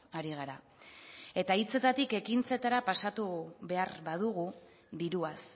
ari gara eta hitzetatik ekintzetara pasatu behar badugu diruaz